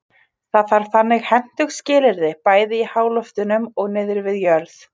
það þarf þannig hentug skilyrði bæði í háloftunum og niðri við jörð